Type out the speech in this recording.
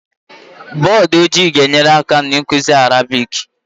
Bọdụ ojii ga-enyere aka n'ịkụzi Arabiki